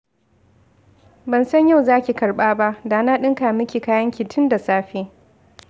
Ban san yau zaki karɓa ba, da na ɗinka miki kayanki tun da safe